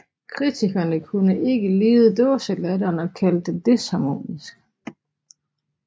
Kritikerne kunne ikke lide dåselatteren og kaldte den disharmonisk